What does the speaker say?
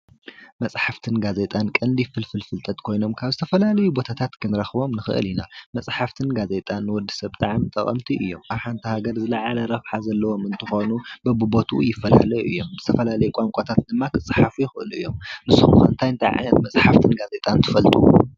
መጻሓፍትን ጋዜጣን ቀንዲ ፍልፍል ፍልጠት ኮይኖም ካብ ዝተፈላላዩ ቦታታት ክንረክቦም ንክእል ኢና ።መጻሓፍትን ጋዜጣን ንወድሰብ ብጣዕሚ ጠቀምቲ እዮም። ኣብ ሓንቲ ሃገር ዝለዓለ ረብሓ ዘለዎ ብምኳኑ በቢ ቦትኡ ይፈላላዩ እዮም። ዝተፈላለየ ቋንቋታት ድማ ክፀሓፉ ይክእሉ እዮም። ንስኹም ከ ታይታይ ዓይነት መጻሓፍትን ጋዜጣን ትፈልጡ?